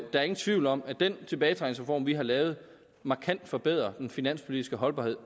er ingen tvivl om at den tilbagetrækningsreform vi har lavet markant forbedrer den finanspolitiske holdbarhed